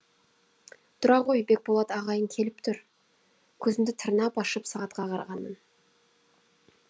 тұра ғой бекболат ағайың келіп тұр көзімді тырнап ашып сағатқа қарағанмын